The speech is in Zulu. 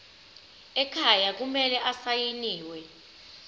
ekhaya kumele asayiniwe